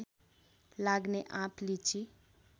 लाग्ने आँप लिची